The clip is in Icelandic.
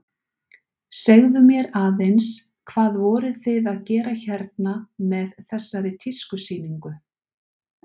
Segðu mér aðeins, hvað voruð þið að gera hérna með þessari tískusýningu?